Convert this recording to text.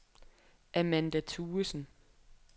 Amanda Thuesen